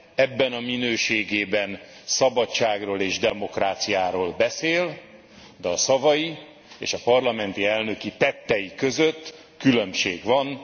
Ebben a minőségében szabadságról és demokráciáról beszél, de a szavai és a parlamenti elnöki tettei között különbség van.